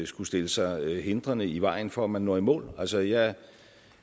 skulle stille sig hindrende i vejen for at man når i mål altså jeg